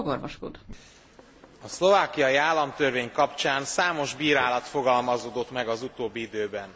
A szlovákiai államtörvény kapcsán számos bírálat fogalmazódott meg az utóbbi időben.